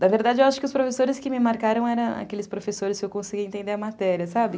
Da verdade, eu acho que os professores que me marcaram eram aqueles professores que eu conseguia entender a matéria, sabe?